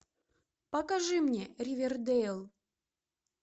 покажи мне ривердейл